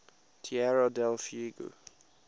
tierra del fuego